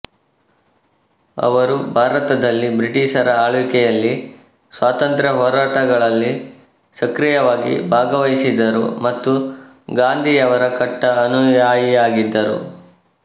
ಅವರು ಭಾರತದಲ್ಲಿ ಬ್ರಿಟಿಷರ ಆಳ್ವಿಕೆಯಲ್ಲಿ ಸ್ವಾತಂತ್ರ್ಯ ಹೋರಾಟಗಳಲ್ಲಿ ಸಕ್ರಿಯವಾಗಿ ಭಾಗವಹಿಸಿದರು ಮತ್ತು ಗಾಂಧಿಯವರ ಕಟ್ಟಾ ಅನುಯಾಯಿಯಾಗಿದ್ದರು